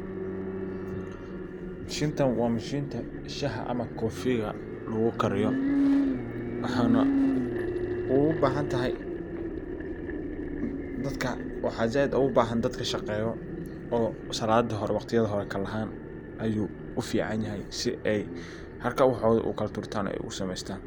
Mashintan waa mashinta shaxa ama kofiga lagu kariyo. Waxaa zaid ugu bahan dadka shaqeyo oo saladi hore waqtiyada hore kalahan, ayu u fican yahay si ay haraka wahoda u sameytan oo u kalaturtan.